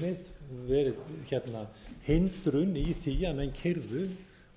eðlileg viðmið verið hindrun í því að menn keyrðu